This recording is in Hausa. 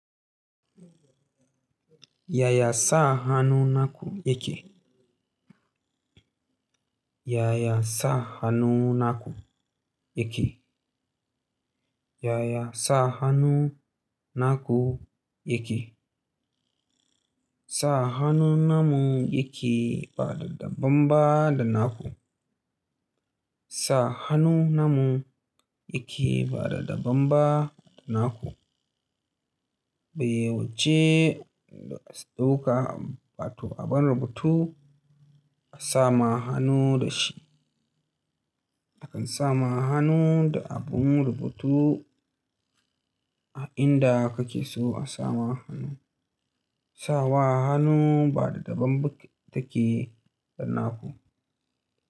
Ya ya sa hannu naku yake? Yaya sa hannu naku yake? Yaya sa hannu naku yake? Sa hannu namun yake ba da daban ba da naku. Sa hannu namun yake ba da daban ba da naku. Bayi wuce da sauka, ba to abun rubutu a sama hannu da shi. Akan sama hannu da abun rubutu, a inda kake so a sama hannu. Sawa hannu ba da daban yake da naku.